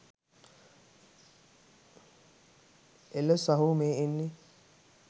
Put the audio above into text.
එල සහෝ මේ එන්නෙ